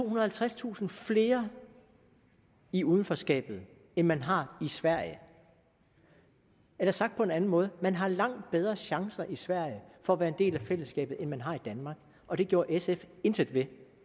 og halvtredstusind flere i udenforskabet end man har i sverige eller sagt på en anden måde man har langt bedre chancer i sverige for at være en del af fællesskabet end man har i danmark og det gjorde sf intet ved